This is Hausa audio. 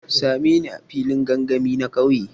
Sa me ni a filin gangami na kauye.